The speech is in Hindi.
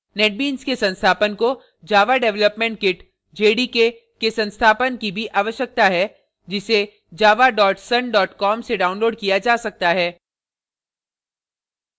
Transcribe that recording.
netbeans के संस्थापन को java development kit jdk के संस्थापन की भी आवश्यकता है जिसे java sun com से downloaded किया जा सकता है